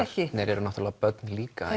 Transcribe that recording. ekki þeir eru náttúrulega börn líka